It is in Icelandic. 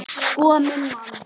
Sko minn mann!